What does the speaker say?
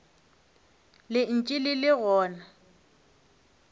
le ntše le le gona